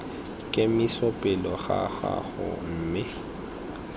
kemiso pele ga gago mme